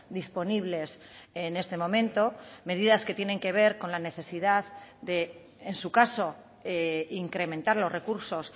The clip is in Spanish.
disponibles en este momento medidas que tienen que ver con la necesidad en su caso incrementar los recursos